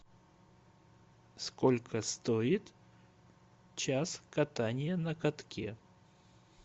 сколько стоит час катания на катке